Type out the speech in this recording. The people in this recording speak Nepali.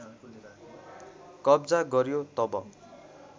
कब्जा गर्‍यो तब